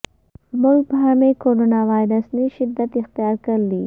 ملک بھر میں corona virus نے شدت اختیار کرلی